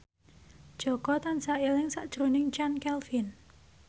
Jaka tansah eling sakjroning Chand Kelvin